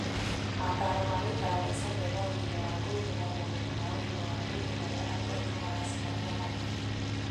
Motaaro ma gũikara maica mena ũgima wa mwĩrĩ na moritũ ma ũgima wa mwĩrĩ marĩa andũ aitũ maracemania namo.